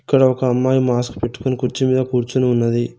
ఇక్కడ ఒక అమ్మాయి మాస్క్ పెట్టుకొని కుర్చీ మీద కూర్చుని ఉన్నది.